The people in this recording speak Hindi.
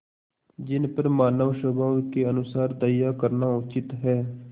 जिन पर मानवस्वभाव के अनुसार दया करना उचित है